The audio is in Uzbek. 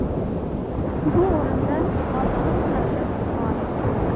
Bu o‘rinda Olmaliq shahri g‘olib.